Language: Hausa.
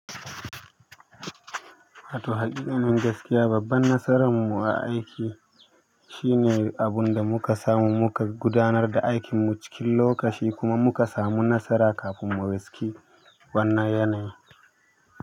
Wato haƙiƙanin gaskiya babban nasaran mu a aiki shine abun da muka samu muka gudanar da aikin mu cikin lokaci kuma muka samu nasara kafin mu riski wannan yanayi.